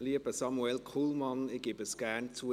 Lieber Samuel Kullmann, ich gebe es gerne zu: